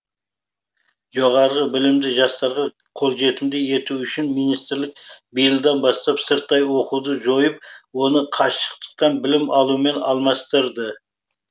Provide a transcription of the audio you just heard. жоғары білімді жастарға қолжетімді ету үшін министрлік биылдан бастап сырттай оқуды жойып оны қашықтықтан білім алумен алмастырды